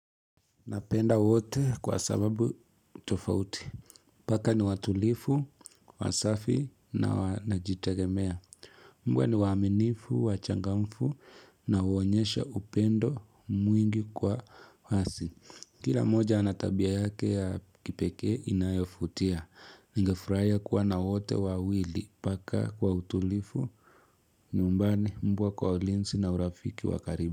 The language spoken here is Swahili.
Napenda wote kwa sababu tofauti. Paka ni watulifu, wasafi na najitagemea. Mbwa ni waminifu, wachangamfu na uonyesha upendo mwingi kwa hasi. Kila moja anatabia yake ya kipeke inayofutia. Nigefurahia kuwa na wote wawili. Paka kwa utulifu, nyumbani mbwa kwa olinsi na urafiki wakaribu.